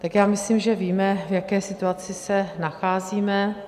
Tak já myslím, že víme, v jaké situaci se nacházíme.